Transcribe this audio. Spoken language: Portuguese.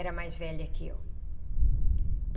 Era mais velha que eu.